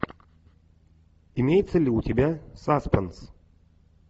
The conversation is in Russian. имеется ли у тебя саспенс